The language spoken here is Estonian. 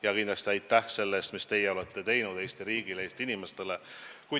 Ja kindlasti aitäh selle eest, mis teie olete teinud Eesti riigile ja Eesti inimestele!